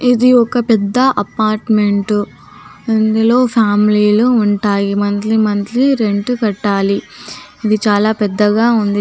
ఇది ఒక్క పెద్ద అపార్ట్మెంట్ ఇందులో ఫ్యామిలి లు ఉంటాయి మంత్లీ మంత్లీ రెంట్ కట్టాలి ఇది చాలా పెద్దగా ఉంది .